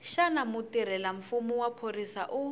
xana mutirhelamfumo wa xiphorisa u